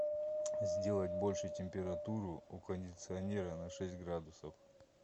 сделать больше температуру у кондиционера на шесть градусов